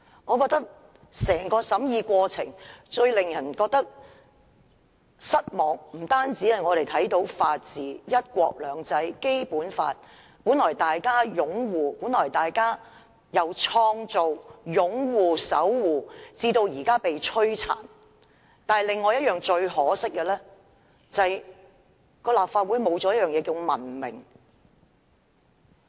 我認為整個審議過程最令人失望的地方，是看到法治、"一國兩制"、《基本法》由大家一起創造、守護，及至現在被摧殘；另一個令人感到可惜的地方，是立法會失去了文明。